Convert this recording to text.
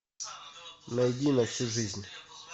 найди на всю жизнь